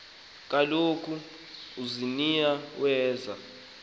kaloku uziniya weza